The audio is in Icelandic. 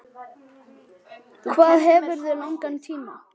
Hvað hefurðu langan tíma?